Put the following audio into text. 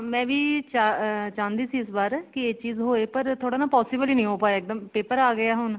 ਮੈਂ ਵੀ ਅਮ ਚਾਹੁੰਦੀ ਸੀ ਇਸ ਬਾਰ ਕੀ ਇਹ ਚੀਜ਼ ਹੋਏ ਪਰ ਥੋੜਾ ਨਾ possible ਨੀ ਹੋ ਪਾਇਆ ਇੱਕ ਦਮ paper ਆ ਗਏ ਆ ਹੁਣ